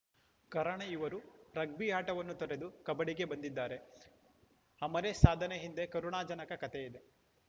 ಕಾರಣ ಇವರು ರಗ್ಬಿ ಆಟವನ್ನು ತೊರೆದು ಕಬಡ್ಡಿಗೆ ಬಂದಿದ್ದಾರೆ ಅಮರೇಶ್‌ ಸಾಧನೆ ಹಿಂದೆ ಕರುಣಾಜನಕ ಕಥೆ ಇದೆ